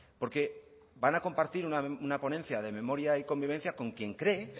porque van a compartir una ponencia de memoria y convivencia con quien cree